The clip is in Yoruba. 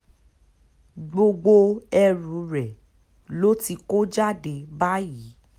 gbogbo ẹrù rẹ̀ ló ti kó jáde báyìí